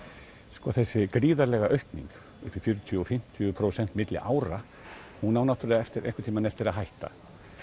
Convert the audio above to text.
sko þessi gríðarlega aukning upp í fjörutíu til fimmtíu prósent milli ára hún á einhvern tíman eftir að hætta